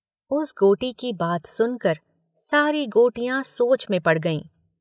” उस गोटी की बात सुनकर सारी गोटियां सोच में पड़ गईं।